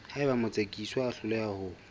haeba motsekiswa a hloleha ho